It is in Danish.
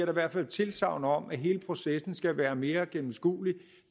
i hvert fald tilsagn om at hele processen skal være mere gennemskuelig